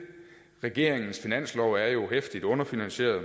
regeringens finanslov er jo heftigt underfinansieret og